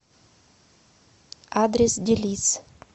адрес делис